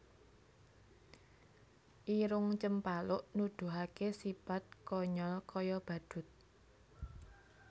Irung Cempaluk Nuduhaké sipat konyol kaya badhut